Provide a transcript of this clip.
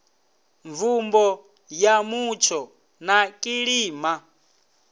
mvumbo ya mutsho na kilima